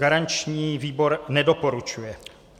Garanční výbor nedoporučuje.